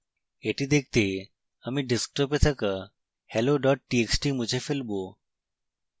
এটি দেখতে আমি ডেস্কটপে থাকা hello txt মুছে ফেলবো